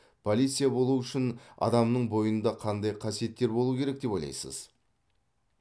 полиция болу үшін адамның бойында қандай қасиеттер болу керек деп ойлайсыз